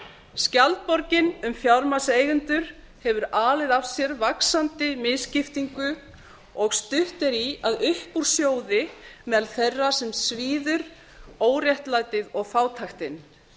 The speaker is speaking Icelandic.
skjaldborgin um fjármagnseigendur hefur alið af sér vaxandi misskiptingu og stutt er í að upp úr sjóði meðal þeirra sem svíður óréttlætið og fátæktin